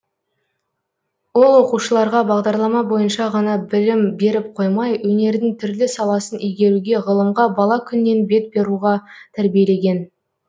ол оқушыларға бағдарлама бойынша ғана білім беріп қоймай өнердің түрлі саласын игеруге ғылымға бала күннен бет бұруға тәрбиелеген